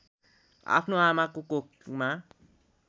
आफ्नो आमाको कोखमा